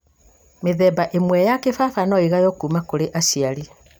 mĩthemba ĩmwe ya kĩbaba no igaywo kuuma kũrĩ aciari